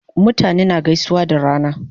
Mutane na gaisuwa da rana